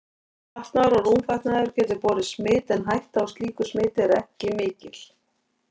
Fatnaður og rúmfatnaður getur borið smit en hætta á slíku smiti er ekki mikil.